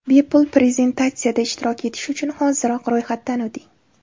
Bepul prezentatsiya da ishtirok etish uchun hoziroq ro‘yxatdan o‘ting !